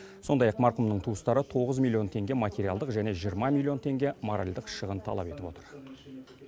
сондай ақ марқұмның туыстары тоғыз миллион теңге материалдық және жиырма миллион теңге моральдық шығын талап етіп отыр